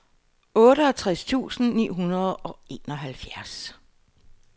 otteogtres tusind ni hundrede og enoghalvtreds